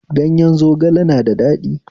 Gayen zogale na da daɗi